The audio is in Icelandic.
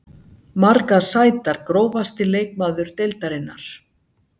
Margar sætar Grófasti leikmaður deildarinnar?